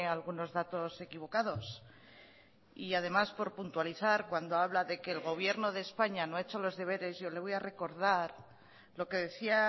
algunos datos equivocados y además por puntualizar cuando habla de que el gobierno de españa no ha hecho los deberes yo le voy a recordar lo que decía